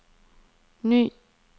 ny